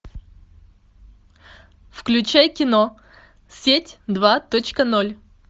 включай кино сеть два точка ноль